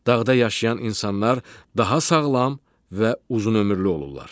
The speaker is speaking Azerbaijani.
Dağda yaşayan insanlar daha sağlam və uzunömürlü olurlar.